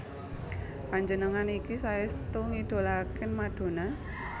Panjenengan niki saestu ngidolaaken Madonna?